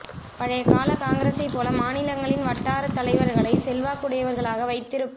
பழைய கால காங்கிரஸைப் போல மாநிலங்களின் வட்டாரத் தலைவர்களைச் செல்வாக்குடையவர்களாக வைத்திருப்